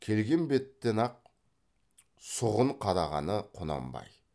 келген беттен ақ сұғын қадағаны құнанбай